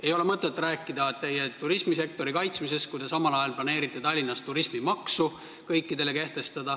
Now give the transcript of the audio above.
Ei ole mõtet rääkida turismisektori kaitsmisest, kui te samal ajal planeerite Tallinnas kehtestada turismimaksu.